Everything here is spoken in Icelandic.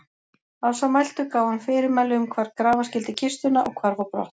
Að svo mæltu gaf hann fyrirmæli um hvar grafa skyldi kistuna og hvarf á brott.